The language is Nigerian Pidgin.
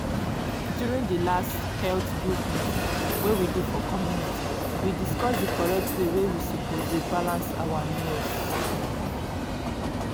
during di last health group meeting wey we do for community we discuss the correct way wey we suppose dey balance our meals.